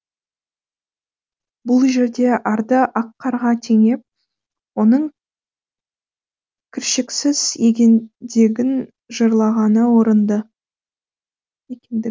бұл жерде арды ақ қарға теңеп оның кіршіксіз екендігін жырлағаны орынды